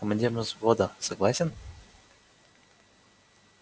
командиром взвода согласен